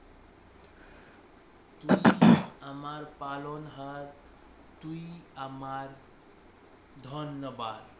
তুই আমার পালন হার তুই আমার ধনবান